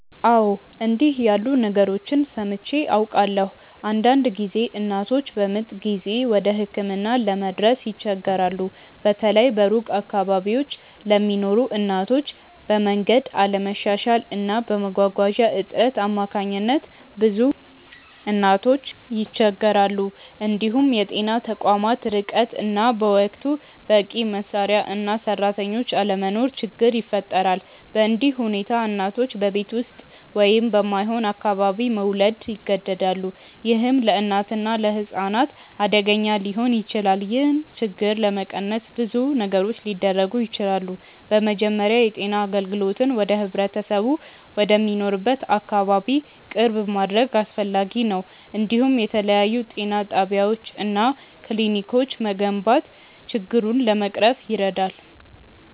አዎ፣ እንዲህ ያሉ ነገሮችን ሰምቼ አውቃለሁ። አንዳንድ ጊዜ እናቶች በምጥ ጊዜ ወደ ሕክምና ለመድረስ ይቸገራሉ፤ በተለይ በሩቅ አካባቢዎች ለሚኖሩ እናቶች፤ በመንገድ አለመሻሻል እና በመጓጓዣ እጥረት አማካኝነት ብዙ እናቶች ይቸገራሉ። እንዲሁም የጤና ተቋማት ርቀት እና በወቅቱ በቂ መሳሪያ እና ሰራተኞች አለመኖር ችግር ይፈጥራል። በእንዲህ ሁኔታ እናቶች በቤት ውስጥ ወይም በማይሆን አካባቢ መውለድ ይገደዳሉ፣ ይህም ለእናትና ለሕፃን አደገኛ ሊሆን ይችላል። ይህን ችግር ለመቀነስ ብዙ ነገሮች ሊደረጉ ይችላሉ። በመጀመሪያ የጤና አገልግሎትን ወደ ህብረተሰቡ ወደሚኖርበት አካባቢ ቅርብ ማድረግ አስፈላጊ ነው፤ እንዲሁም የተለያዩ ጤና ጣቢያዎች እና ክሊኒኮች መገንባት ችግሩን ለመቅረፍ ይረዳል።